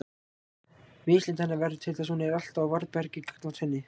Mislyndi hennar verður til þess að hún er alltaf á varðbergi gagnvart henni.